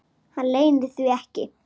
Hann leynir því ekki.